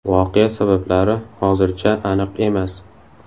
Voqea sabablari hozircha aniq emas.